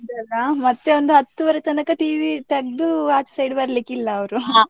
ಹೌದಲ್ಲ ಮತ್ತೆ ಒಂದು ಹತ್ತೂವರೆ ತನಕ TV ತೆಗ್ದು ಆಚೆ side ಬರ್ಲಿಕ್ಕೆ ಇಲ್ಲಾ .